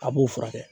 A b'u furakɛ